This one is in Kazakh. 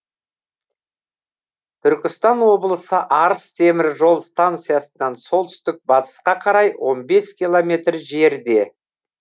түркістан облысы арыс темір жол станциясынан солтүстік батысқа қарай он бес километр жерде